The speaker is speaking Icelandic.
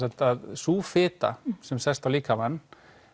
sú fita sem sest á líkamann